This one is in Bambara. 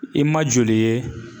I ma joli ye